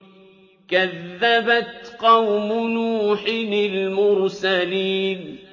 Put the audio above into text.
كَذَّبَتْ قَوْمُ نُوحٍ الْمُرْسَلِينَ